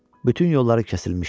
Bütün yolları kəsilmişdi.